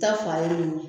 Ta fa ye nin ye